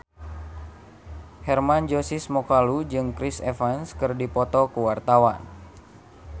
Hermann Josis Mokalu jeung Chris Evans keur dipoto ku wartawan